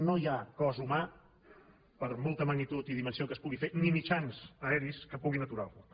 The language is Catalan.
no hi ha cos humà per molta magnitud i dimensió que es pugui fer ni mitjans aeris que puguin aturar el foc